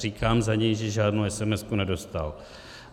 Říkám za něj, že žádnou esemesku nedostal.